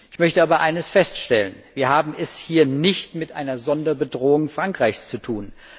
Ich möchte aber eines feststellen Wir haben es hier nicht mit einer Sonderbedrohung Frankreichs zu tun.